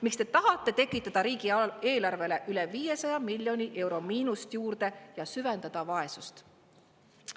Miks te tahate tekitada riigieelarvele üle 500 miljoni euro miinust juurde ja süvendada vaesust?